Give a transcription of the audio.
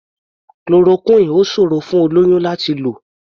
Chloroquine ò ṣòrò fún olóyún láti lò.